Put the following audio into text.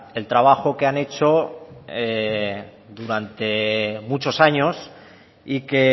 el trabajo que han hecho durante muchos años y que